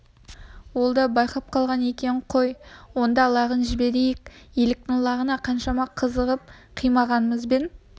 ол да байқап қалған екен қой онда лағын жіберсек жіберейік еліктің лағына қаншама қызығып қимағанымызбен